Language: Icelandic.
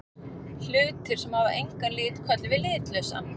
Hlutir sem hafa engan lit köllum við litlausa.